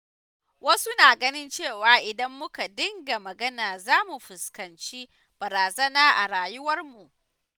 Wasu na ganin cewa idan muka dinga magana za mu fuskanci barazana a rayuwarmu.